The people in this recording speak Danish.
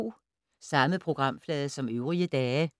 Samme programflade som øvrige dage